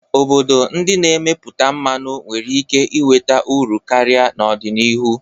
Obodo ndị na-emepụta mmanụ nwere ike nweta uru karịa n'ọdịnihu.